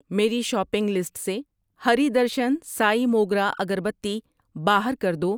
میری shopping list سے ہری درشن سائی موگرہ اگر بتی باہر کر دو۔